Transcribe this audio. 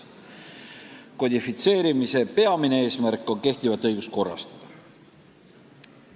Kodifitseerimise peamine eesmärk on kehtivat õigust korrastada.